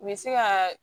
U bɛ se ka